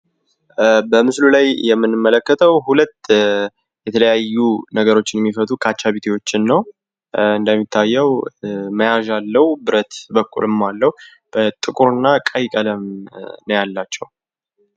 በምስሉ ላይ የምንመልከተው ሁለት የተለያዩ ነገሮችን የሚፈቱ ካቻቢቴዎችን ነው። እንደሚታየው መያዣ አለው ፤ ብረት በኩልም አለው። ጥቁር እና ቀይ ቀለም ነው ያላቸው።